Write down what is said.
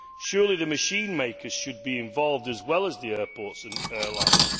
Surely the machine makers should be involved, as well as the airports and airlines.